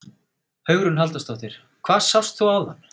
Hugrún Halldórsdóttir: Hvað sást þú áðan?